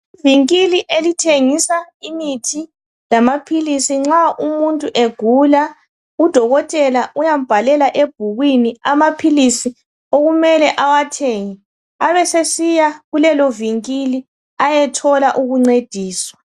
Ivinkili elithengisa imithi lamaphilisi nxa umuntu egula udokotela uyambhalela ebhukwini amaphilisi okumele awathenge abesesiya kulelo vinkili ayethola ukuncediswa.